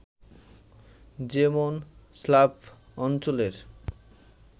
যেমন, স্লাভ অঞ্চলের